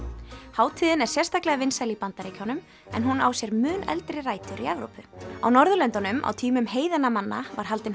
hátíðin er sérstaklega vinsæl í Bandaríkjunum en hún á sér mun eldri rætur í Evrópu á Norðurlöndunum á tímum heiðinna manna var haldin